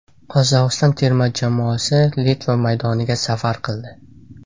Qozog‘iston terma jamoasi Litva maydoniga safar qildi.